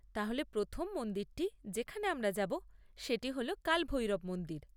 তাহলে প্রথম মন্দিরটি যেখানে আমরা যাব সেটি হল কাল ভৈরব মন্দির।